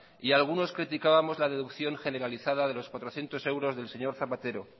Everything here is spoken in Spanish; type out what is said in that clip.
y algunos criticábamos la deducción generalizada de los cuatrocientos euros del señor zapatero